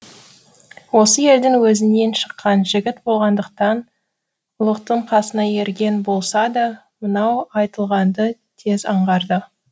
осы елдің өзінен шыққан жігіт болғандықтан ұлықтың қасына ерген болса да мынау айтылғанды тез аңғарды